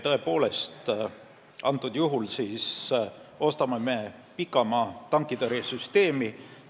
Tõepoolest, antud juhul me ostame pikamaa-tankitõrjesüsteemi.